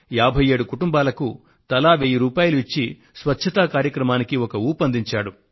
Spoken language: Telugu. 57 కుటుంబాలకు తలా వెయ్యి రూపాయలు ఇచ్చి స్వచ్ఛతా కార్యక్రమానికి జోరును అందించాడు